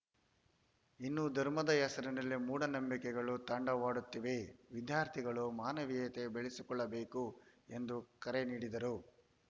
ಇನ್ನೂ ಧರ್ಮದ ಹೆಸರಿನಲ್ಲಿ ಮೂಢನಂಬಿಕೆಗಳು ತಾಂಡವವಾಡುತ್ತಿವೆ ವಿದ್ಯಾರ್ಥಿಗಳು ಮಾನವೀಯತೆ ಬೆಳೆಸಿಕೊಳ್ಳಬೇಕು ಎಂದು ಕರೆ ನೀಡಿದರು